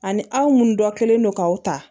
Ani aw munnu dɔ kɛlen don k'aw ta